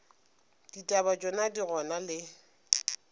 ditaba tšona di gona le